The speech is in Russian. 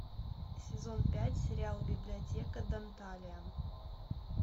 сезон пять сериал библиотека данталиан